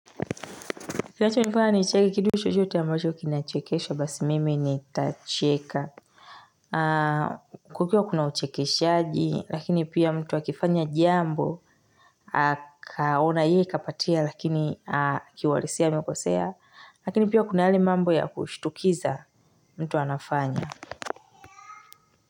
Kinachonifanya nicheki kitu chochote ambacho kinachekesha basi mimi nitacheka. Kukiwa kuna uchekeshaji lakini pia mtu akifanya jambo akaona hii ikapatia lakini kiuhalisia amekosea. Lakini pia kuna yale mambo ya kushtukiza mtu anafanya.